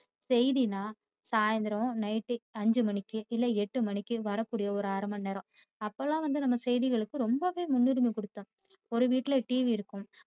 செய்தினா சாயந்திரம் night ஐந்து மணிக்கு இல்ல எட்டு மணிக்கு வர கூடிய ஒரு அரை மணி நேரம். அப்பயெல்லாம் வந்து நம்ம செய்திகளுக்கு ரொம்பவே முன்னுரிமை கொடுத்தோம் ஒரு வீட்டில TV இருக்கும்